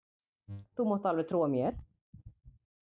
Þú mátt alveg trúa mér!